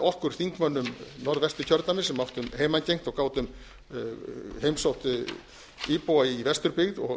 okkur þingmönnum norðvesturkjördæmis sem áttum heimangengt og gátum heimsótt íbúa í vesturbyggð og